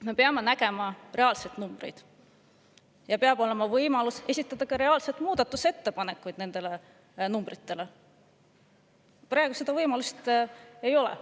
Me peame nägema reaalseid numbreid, meil peab olema võimalus esitada muudatusettepanekuid nende numbrite.